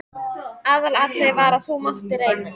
Aðalatriðið var að það mátti reyna.